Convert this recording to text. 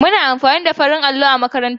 Muna amfani da farin allo a makarantar mu.